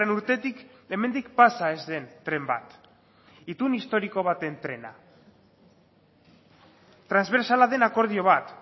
urtetik hemendik pasa ez den tren bat itun historiko baten trena transbertsala den akordio bat